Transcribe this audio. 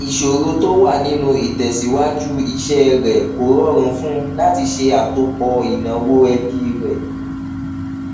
ìsọrọ tó wà nínú ìtẹsíwájú iṣẹ rẹ kó rọrùn fún un láti ṣe àtòpọ ináwó ẹbí rẹ